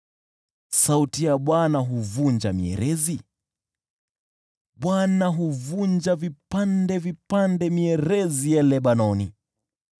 Sauti ya Bwana huvunja mierezi; Bwana huvunja vipande vipande mierezi ya Lebanoni.